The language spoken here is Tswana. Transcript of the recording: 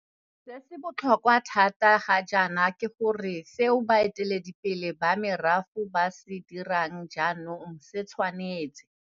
Se se botlhokwa thata ga jaana ke gore seo baeteledi pele ba merafe ba se dirang jaanong e tshwanetse